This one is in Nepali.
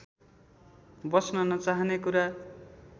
बस्न नचाहने कुरा